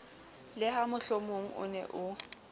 le ha mohlomongo ne o